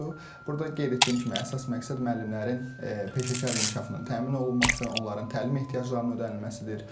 Burda qeyd etdiyim kimi əsas məqsəd müəllimlərin peşəkar inkişafının təmin olunması, onların təlim ehtiyaclarının ödənilməsidir.